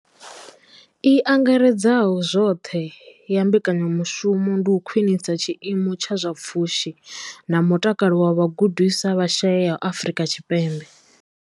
I angaredzaho zwoṱhe ya mbekanyamushumo ndi u khwinisa tshiimo tsha zwa pfushi na mutakalo zwa vhagudiswa vha shayesaho Afrika Tshipembe.